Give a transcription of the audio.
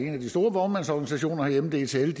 de store vognmandsorganisationer herhjemme dtl